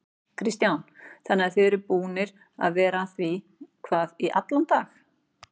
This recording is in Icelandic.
Kristján: Þannig að þið eruð búnir að vera að því hvað í allan dag?